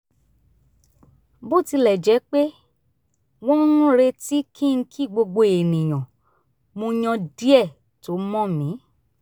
bó tilẹ̀ jẹ́ pé wọ́n ń retí kí n kí gbogbo ènìyàn mo yàn díẹ̀ tó mọ̀n mi